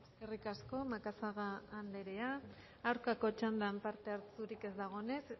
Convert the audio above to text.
eskerrik asko macazaga anderea aurkako txandan parte hartzerik ez dagoenez